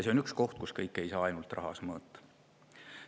See on üks koht, kus kõike ei saa ainult rahas mõõta.